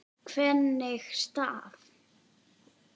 Hvernig staf